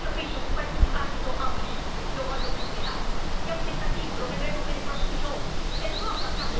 Allora io penso che questo dibattito abbia un limite, che io voglio qui svelare, che è un tentativo, lo vedremo anche nei prossimi giorni, è l'Europa...